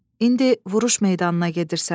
İndi vuruş meydanına gedirsən.